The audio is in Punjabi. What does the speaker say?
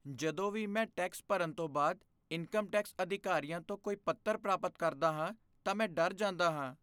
ਜਦੋਂ ਵੀ ਮੈਂ ਟੈਕਸ ਭਰਨ ਤੋਂ ਬਾਅਦ ਇਨਕਮ ਟੈਕਸ ਅਧਿਕਾਰੀਆਂ ਤੋਂ ਕੋਈ ਪੱਤਰ ਪ੍ਰਾਪਤ ਕਰਦਾ ਹਾਂ ਤਾਂ ਮੈਂ ਡਰ ਜਾਂਦਾ ਹਾਂ।